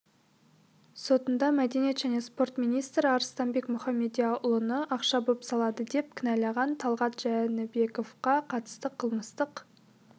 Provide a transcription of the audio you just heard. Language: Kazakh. сотында мәдениет және спорт министрі арыстанбек мұхамедиұлыны ақша бопсалады деп кінәлаған талғат жәнібековке қатысты қылмыстық